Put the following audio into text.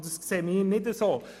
Das sehen wir nicht so.